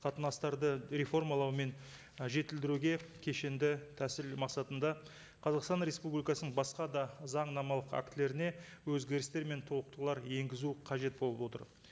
қатынастарды реформалау мен і жетілдіруге кешенді тәсіл мақсатында қазақстан республикасының басқа да заңнамалық актілеріне өзгерістер мен толықтырулар енгізу қажет болып отыр